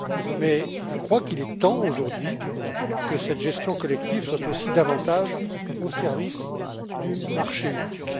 Mais il est temps aujourd'hui que cette gestion collective soit aussi davantage au service du marché unique.